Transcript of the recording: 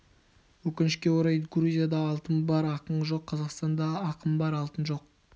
өкінішке орай грузияда алтын бар ақын жоқ қазақстанда ақын бар алтын жоқ